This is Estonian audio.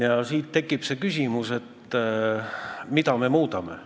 Ja nüüd tekib küsimus, mida me muudame.